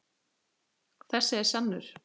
Þessi er sannur.